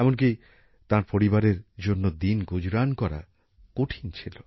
এমনকি তাঁর পরিবারের জন্য দিন গুজরান করা কঠিন ছিল